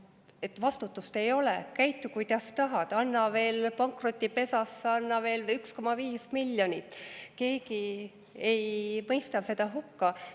Et vastutust ei ole, käitu, kuidas tahad, anna pankrotipesasse veel 1,5 miljonit, keegi ei mõista seda hukka.